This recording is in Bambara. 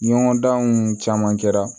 Ɲɔgɔndanw caman kɛra